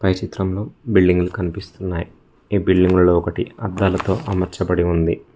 ఈ చిత్రంలో బిల్డింగులు కనిపిస్తున్నాయ్ ఈ బిల్డింగ్ల్లో ఒకటి అద్దాలతో అమర్చబడి ఉంది.